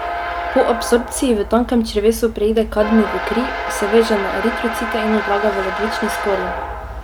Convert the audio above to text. Po absorbciji v tankem črevesu preide kadmij v kri, se veže na eritrocite in odlaga v ledvični skorji.